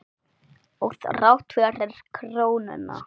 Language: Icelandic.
Og þrátt fyrir krónuna?